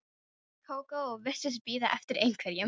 Með gleðibragði sagði bóndinn að nú hefði það gengið.